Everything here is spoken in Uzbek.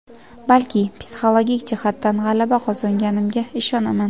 balki psixologik jihatdan g‘alaba qozonganimga ishonaman.